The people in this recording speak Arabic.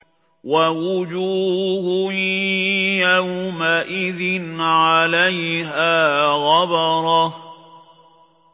وَوُجُوهٌ يَوْمَئِذٍ عَلَيْهَا غَبَرَةٌ